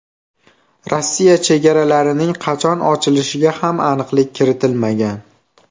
Rossiya chegaralarining qachon ochilishiga ham aniqlik kiritilmagan.